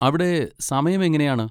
അവിടെ സമയം എങ്ങനെയാണ്?